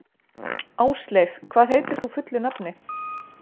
Ásleif, hvað heitir þú fullu nafni?